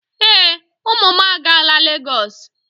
Ee, ụmụ m agaala Lagos.